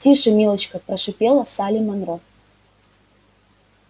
тише милочка прошипела салли манро